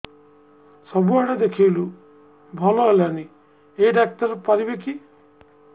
ସବୁଆଡେ ଦେଖେଇଲୁ ଭଲ ହେଲାନି ଏଇ ଡ଼ାକ୍ତର ପାରିବେ କି